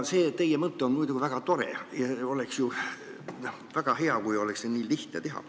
See teie mõte on muidugi väga tore ja oleks väga hea, kui seda oleks nii lihtne teha.